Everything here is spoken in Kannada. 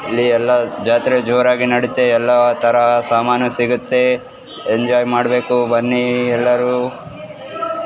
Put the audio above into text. ಇಲಿ ಎಲ್ಲ ಜಾತ್ರೆ ಜೋರಾಗಿ ನಡಿತವೆ ಎಲ್ಲ ತರ ಸಾಮಾನು ಸಿಗುತ್ತೆ ಎಂಜೋಯ್ ಮಾಡ್ಬೇಕು ಬನ್ನಿ ಎಲ್ಲರೂ.